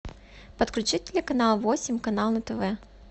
подключи телеканал восемь канал на тв